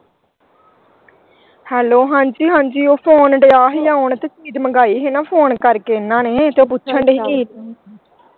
Hello ਹਾਂਜੀ ਹਾਂਜੀ ਉਹ phone ਦਿਆ ਹੀ ਆਉਣ ਤੇ ਚੀਜ ਮੰਗਾਈ ਹੀ ਨਾ phone ਕਰਕੇ ਇਹਨਾਂ ਨੇ ਤੇ ਪੁੱਛਣ ਦੇ ਹੀ ਕਿ।